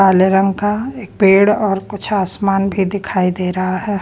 काले रंग का एक पेड़ और कुछ आसमान भी दिखाई दे रहा है।